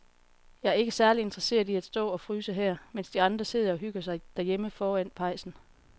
Jeg er ikke særlig interesseret i at stå og fryse her, mens de andre sidder og hygger sig derhjemme foran pejsen.